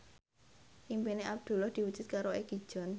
impine Abdullah diwujudke karo Egi John